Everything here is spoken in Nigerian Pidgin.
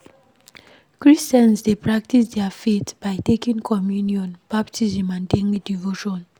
Christians dey practice their faith by taking communion, baptism and daily devotion